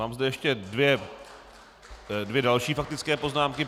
Mám zde ještě další dvě faktické poznámky.